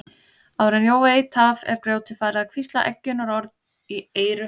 Áður en Jón veit af er grjótið farið að hvísla eggjunarorð í eyru hans.